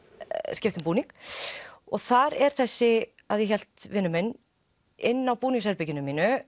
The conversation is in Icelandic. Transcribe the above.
skipta um búning og þar er þessi að ég hélt vinur minn inni í búningsherberginu mínu